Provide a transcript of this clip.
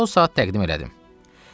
O saat təqdim elədim.